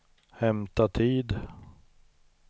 hämta tid